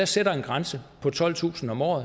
sætter en grænse på tolvtusind om året